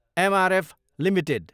MRF Ltd